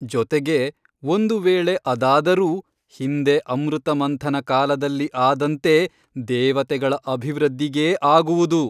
ಜೊತೆಗೆ ಒಂದು ವೇಳೆ ಅದಾದರೂ ಹಿಂದೆ ಅಮೃತಮಂಥನ ಕಾಲದಲ್ಲಿ ಆದಂತೆ ದೇವತೆಗಳ ಅಭಿವೃದ್ಧಿಗೇ ಆಗುವುದು.